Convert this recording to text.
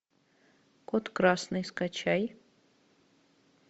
код красный скачай